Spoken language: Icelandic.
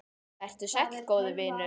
Vertu sæll, góði vinur.